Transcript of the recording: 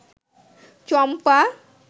চম্পা